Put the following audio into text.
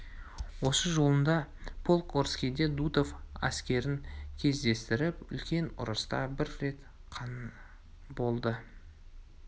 осы жолында полк орскийде дутов әскерін кездестіріп үлкен ұрыста бір рет қана болды